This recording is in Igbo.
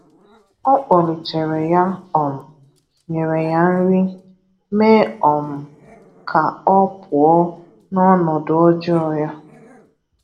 Ọ kpoglitèré ya, um nyere ya nri, mee um ka ọ pụọ n’ọnọdụ ọ̀jọọ ya.